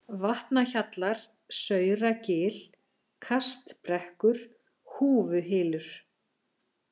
Vatnahjallar, Sauragil, Kastbrekkur, Húfuhylur